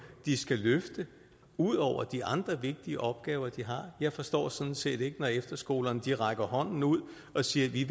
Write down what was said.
de skal løfte ud over de andre vigtige opgaver de har jeg forstår sådan set ikke når efterskolerne rækker hånden ud og siger at de